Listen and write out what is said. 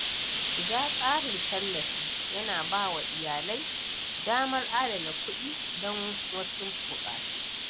Shiga tsarin tallafi yana ba wa iyalai damar adana kuɗi don wasu buƙatu.